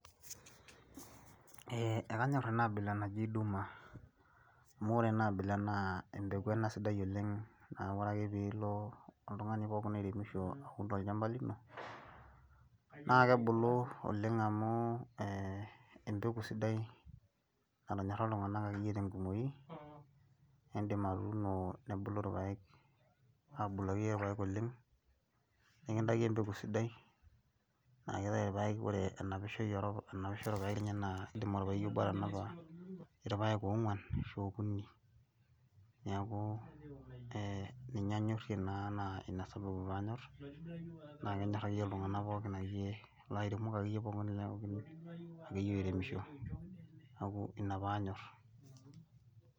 Ee akanyorr ena abila naji duma amu ore ena abila naa empeku ena sidai oleng' naa ore ake piilo oltung'ani pookin oiremisho aaun tolchamba lino naa kebulu oleng' amu ee empeku sidai natonyorra iltung'anak akeyie tenkumoi niindim atuuno nebulu irpaek aabulu akeyie irpaek oleng' nikintaki empeku sidai naa kitayu irpaek ore enaisho irpaek enye naa iindim orpaeki obo atanapa irpaek oongwan ashu aa okuni neeku ee ninye anyorrie naa naa ina sababu paanyorr naa kenyorr akeyie iltung'anak pookin kulo airemok akeyie pookin akeyie oiremisho neeku ina pee anyorr.